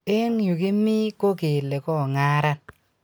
Eng yu kimii ko kelee kongaran